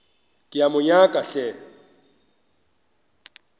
ke a mo nyaka hle